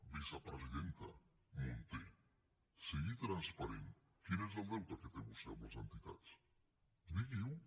vicepresidenta munté sigui transparent quin és el deute que té vostè amb les entitats digui ho